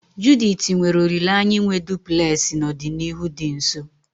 Judith nwere olileanya inwe duplulesi n'ọdịnihu dị nso